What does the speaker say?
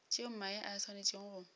tšeo mae a swanetšego go